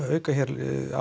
auka hér